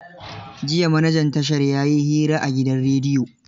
Jiya manajan tashar ya yi hira a gidan rediyo.